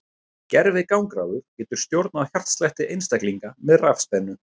Gervigangráður getur stjórnað hjartslætti einstaklinga með rafspennu.